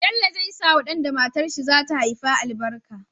Bello zai sawa dan da matar shi zata haifa albarka